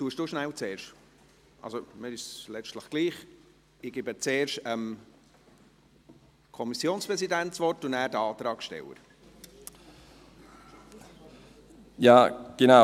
Ich erteile zuerst dem Kommissionspräsidenten, danach den Antragsstellern das Wort.